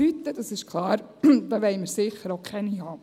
Neophyten, das ist klar, wollen wir sicher auch keine haben.